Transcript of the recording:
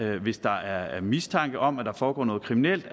hvis der er mistanke om at der foregår noget kriminelt